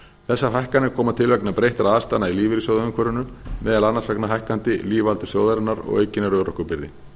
þessar hækkanir koma til vegna breyttra aðstæðna í lífeyrissjóðaumhverfinu meðal annars vegna hækkandi lífaldurs þjóðarinnar og aukinnar örorkubyrði